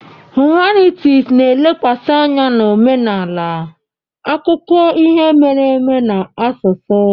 Hụmanịtis na-elekwasị anya na omenala, akụkọ ihe mere eme na asụsụ.